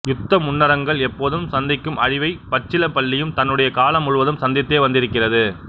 யுத்த முன்னரங்குகள் எப்போதும் சந்திக்கும் அழிவை பச்சிலைப்பள்ளியும் தன்னுடைய காலம் முழுவதும் சந்தித்தே வந்திருக்கிறது